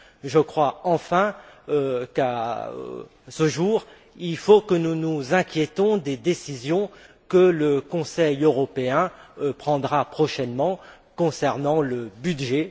Je crois enfin qu'à ce jour, nous devons nous inquiéter des décisions que le Conseil européen prendra prochainement concernant le budget.